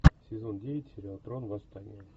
сезон девять сериал трон восстание